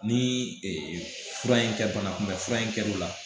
Ni fura in kɛ banakunbɛn fura in kɛr'u la